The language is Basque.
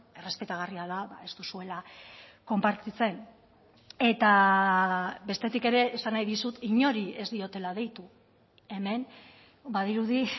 errespetagarria da ez duzuela konpartitzen eta bestetik ere esan nahi dizut inori ez diotela deitu hemen badirudi